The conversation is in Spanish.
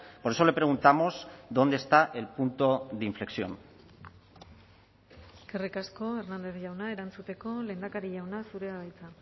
por eso le preguntamos dónde está el punto de inflexión eskerrik asko hernández jauna erantzuteko lehendakari jauna zurea da hitza